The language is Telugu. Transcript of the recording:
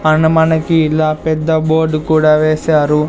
మనకి ఇలా పెద్ద బోర్డ్ కూడా వేశారు.